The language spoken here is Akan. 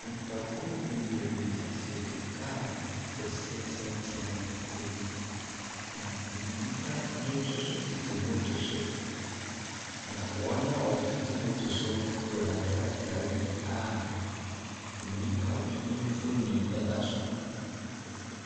Nipakuw beberee tetetete car kɛseɛ tenten mu. A ɛyi nnipa bi nso so tete motor so. Na wɔn a wɔtete motor so no kura krataa bi a onipa bi mfonin da so.